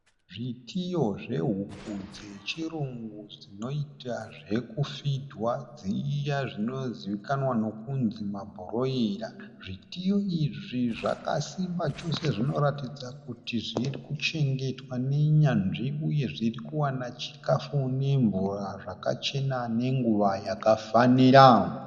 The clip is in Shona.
Zvitiyo zvehuku dzechirungu zvinotwa zvokufidhwa dziya dzinozivikamwa nokuti mabhuroira. Zvitiyo izvi zvakasimba chose. Zvinoratidza kuti zvirikuchengetwa nenyanzvi uye zvirikuwana chikafu nemvura zvakachena nenguva yakafanira.